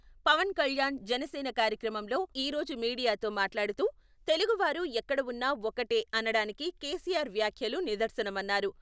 పవన్ కళ్యాణ్ జనసేన కార్యాలయంలో ఈ రోజు మీడియాతో మాట్లాడుతూ, తెలుగు వారు ఎక్కడ ఉన్నా ఒక్కటే అనడానికి కేసీఆర్ వ్యాఖ్యలు నిదర్శనమన్నారు.